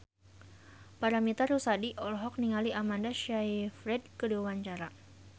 Paramitha Rusady olohok ningali Amanda Sayfried keur diwawancara